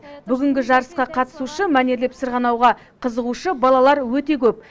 бүгінгі жарысқа қатысушы мәнерлеп сырғанауға қызығушы балалар өте көп